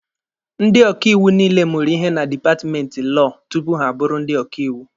Ndị ọkaiwu niile mụrụ ihe na dipatmenti lọọ tupu ha abụrụ ndị ọkaiwu